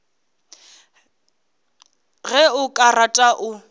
ge o ka rata o